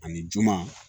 Ani juma